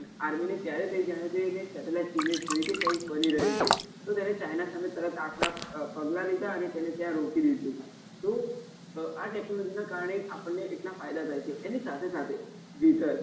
army ને ત્યારે થઇ જયારે તે એને satellite image જોઈતી કઈંક બની રહી છે તો તેને china સામે તરત આકરા પગલા લીધા અને તેને ત્યાં રોકી દીધુ તો તો આ technology ના કારણે આપણને એટલા ફાયદા થાય છે એના સાથે સાથે વિધર